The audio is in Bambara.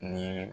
Nin